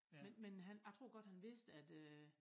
Men men han jeg tror godt han vidste at øh